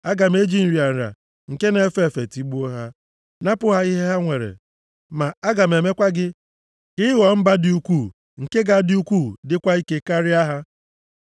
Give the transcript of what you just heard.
Aga m eji nrịa nrịa nke na-efe efe tigbuo ha. Napụ ha ihe ha nwere. Ma aga m emekwa gị ka ị ghọọ mba dị ukwuu, nke ga-adị ukwuu, dịkwa ike karịa ha.”